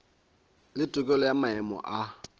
le tokelo ya maemo a